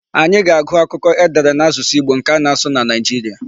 Anyị ga-agụ akụkọ e dere n'asụsụ Igbo nke ana-asụ na Nigeria.